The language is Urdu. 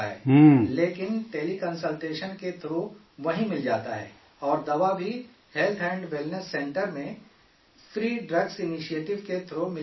لیکن ٹیلی کنسلٹیشن کے تھرو وہیں مل جاتا ہے اور دوا بھی ہیلتھ اینڈ ویلنس سینٹر میں فری ڈرگز انیشیٹو کے تھرو مل جاتا ہے